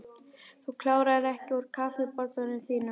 Þú kláraðir ekki úr kaffibollanum þínum.